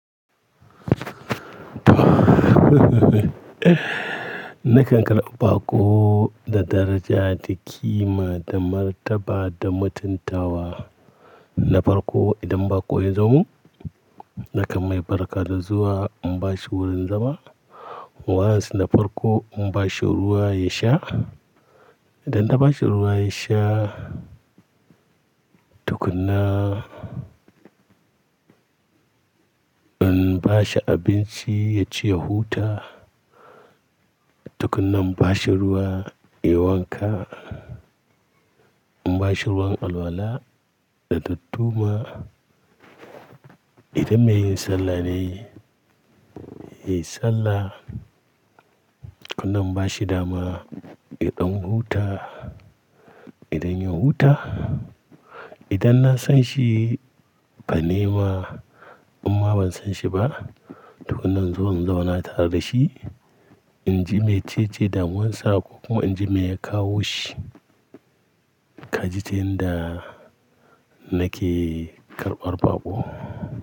Nakan karɓa bako da daraja, da ƙima, da martaba, da mutuntawa. Na farko idan bako yazomun, nakan mai barka da zuwa in bashi wurin zama. Wani sanda farko in bashi ruwa ya sha. Idanna bashi ruwa yasha, tukuna in bashi abinci ya ci ya huta. Tukunna in bashi ruwa yayi wanka, in bashi ruwan alwala da dadduma. Idan maiyin sallah ne, yayi sallah. Kannan in bashi dama yadan huta, idanya huta. Idanna sanshi ba ni ma, in ma ban sanshi ba, tukunna inzo in zauna tare dashi. Inji mecece damuwan sa ko kuma inji meya kawoshi. Kaji ta yanda nake karɓar baƙo.